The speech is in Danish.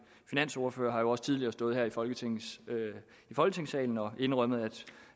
finansordfører har jo også tidligere stået her i folketingssalen folketingssalen og indrømmet